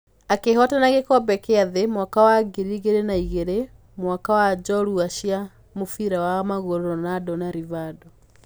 Akĩhootana gĩkombe kĩa thĩ mwaka wa 2002, hamwe na njorua cia mũbira wa magũrũ Ronaldo na Rivaldo.